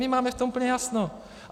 My máme v tom úplně jasno.